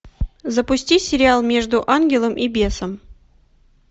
запусти сериал между ангелом и бесом